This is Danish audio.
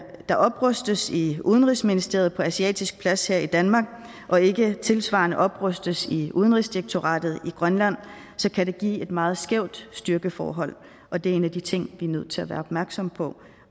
der oprustes i udenrigsministeriet på asiatisk plads her i danmark og ikke tilsvarende oprustes i udenrigsdirektoratet i grønland kan det give et meget skævt styrkeforhold og det er en af de ting vi er nødt til at være opmærksom på